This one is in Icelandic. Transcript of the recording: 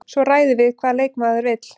Svo ræðum við hvað leikmaðurinn vill.